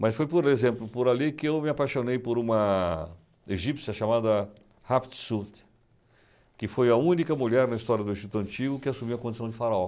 Mas foi, por exemplo, por ali que eu me apaixonei por uma egípcia chamada Hapsut, que foi a única mulher na história do Egito Antigo que assumiu a condição de faraó.